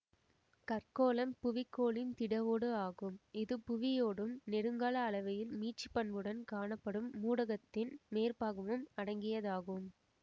கற்கோளம் புவிக் கோளின் திட ஓடு ஆகும் இது புவியோடும் நெடுங்கால அளவையில் மீட்சிப்பண்புடன் காணப்படும் மூடகத்தின் மேற்பாகமும் அடங்கியதாகும்